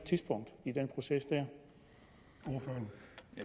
og igen og